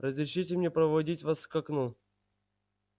разрешите мне проводить вас к окну